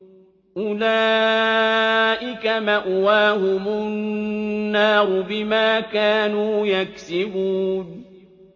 أُولَٰئِكَ مَأْوَاهُمُ النَّارُ بِمَا كَانُوا يَكْسِبُونَ